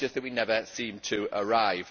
It is just that we never seem to arrive.